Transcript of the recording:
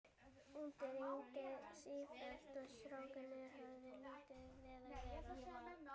Úti rigndi sífellt og strákarnir höfðu lítið við að vera.